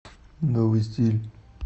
новый стиль